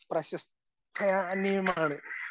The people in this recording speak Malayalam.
പ്രശംസനീയമാണ്